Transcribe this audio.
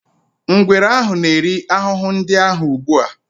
Ngwere ahụ na-eri ahụhụ ndị ahụ ugbu a.